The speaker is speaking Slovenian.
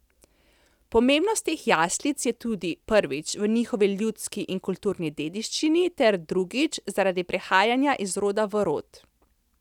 Pomembnost teh jaslic je tudi, prvič, v njihovi ljudski in kulturni dediščini ter, drugič, zaradi prehajanja iz roda v rod.